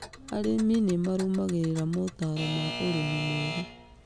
Arĩmi nĩ marũmagĩrĩra motaaro ma ũrĩmi mwega.